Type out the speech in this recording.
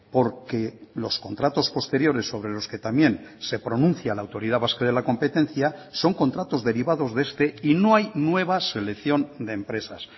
porque los contratos posteriores sobre los que también se pronuncia la autoridad vasca de la competencia son contratos derivados de este y no hay nueva selección de empresas